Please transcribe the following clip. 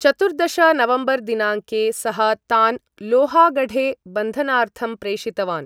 चतुर्दश नवम्बर् दिनाङ्के, सः तान् लोहागढे बन्धनार्थं प्रेषितवान्।